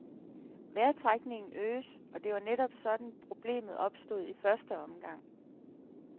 Vejrtrækningen øges, og det var netop sådan, problemet opstod i første omgang.